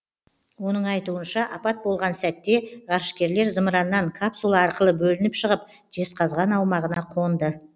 оның айтуынша апат болған сәтте ғарышкерлер зымыраннан капсула арқылы бөлініп шығып жезқазған аумағына қонды